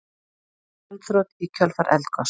Gjaldþrot í kjölfar eldgoss